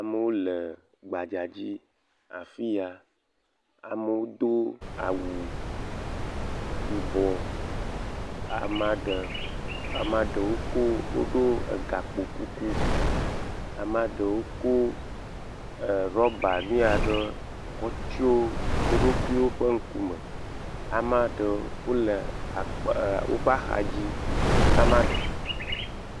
Amewo le gbadzadzi afi ya. Amewo do awu yibɔ. Amaa ɖe, amaa ɖewo ko, woɖo egakpokuku. Amaa ɖewo ko ɛɛɛ rɔba nu ya ɖe kɔ tsyɔ wo ɖokuiwo ƒe ŋkume. Amaa ɖewo wole akpa ɛɛɛ woƒe axadzi ama.